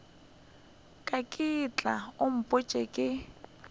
ka ke tla upša ke